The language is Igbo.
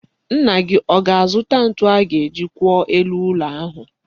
Nna gị ọ ga-azụta ntu a ga-eji kwụọ elu ụlọ ahụ?